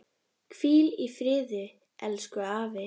Hvíl í friði elsku afi.